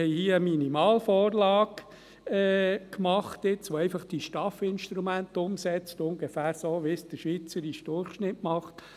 Wir haben hier eine Minimalvorlage gemacht, die einfach die STAF-Instrumente umsetzt, ungefähr so, wie es der schweizerische Durchschnitt macht.